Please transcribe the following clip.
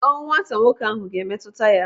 Ọnwụ nwata nwoke ahụ ga-emetụta ya.